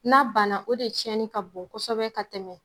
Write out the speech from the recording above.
N'a banna , o de tiɲɛni ka bon kosɛbɛ ka tɛmɛ.